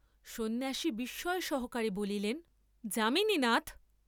সন্ন্যাসী বিস্ময়সহকারে বলিলেন যামিনীনাথ!